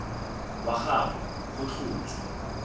wa ga gagwe go tlhotswe